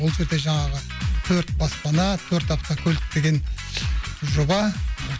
ол жерде жаңағы төрт баспана төрт автокөлік деген жоба